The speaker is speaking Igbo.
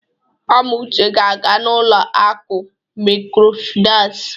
Amuche ga-aga n'ụlọ akụ mikrofinas.